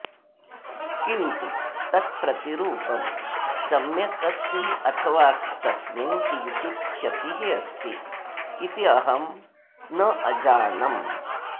किन्तु तत् प्रतिरूपं सम्यक् अस्ति अथवा तस्मिन् किञ्चित् क्षतिः अस्ति इति अहं न अजानम्